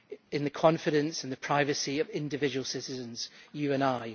in the confidence, in the privacy of individual citizens, you and I.